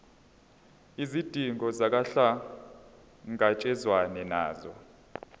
izidingo kuhlangatshezwane nazo